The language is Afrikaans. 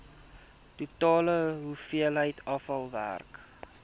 totale hoeveelheid afvalwater